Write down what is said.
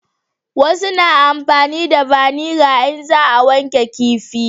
Wasu na amfani da vaniga in za a wanke kifi